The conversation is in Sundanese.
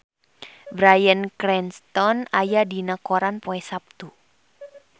Bryan Cranston aya dina koran poe Saptu